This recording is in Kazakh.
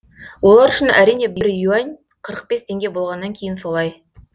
олар үшін әрине бір юань қырық бес теңге болғаннан кейін солай